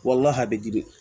Walahi giri